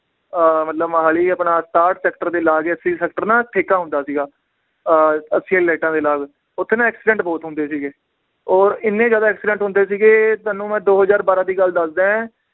ਅਹ ਮਤਲਬ ਮੋਹਾਲੀ ਆਪਣਾ ਸਤਾਹਠ sector ਦੇ ਲਾਗ ਹੀ sector ਨਾ ਠੇਕਾ ਹੁੰਦਾ ਸੀਗਾ ਅਹ ਲਾਈਟਾਂ ਦੇ ਨਾਲ ਓਥੇ ਨਾ accident ਬਹੁਤ ਹੁੰਦੇ ਸੀਗੇ ਔਰ ਇੰਨੇ ਜ਼ਿਆਦਾ accident ਹੁੰਦੇ ਸੀਗੇ ਤੁਹਾਨੂੰ ਮੈ ਦੋ ਹਜ਼ਾਰ ਬਾਰ੍ਹਾਂ ਦੀ ਗੱਲ ਦੱਸਦਾ ਏ